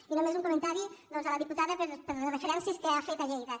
i només un comentari doncs a la diputada per les referències que ha fet a lleida